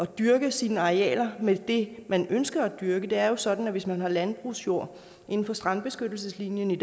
dyrke sine arealer med det man ønsker at dyrke det er jo sådan at hvis man har landbrugsjord inden for strandbeskyttelseslinjen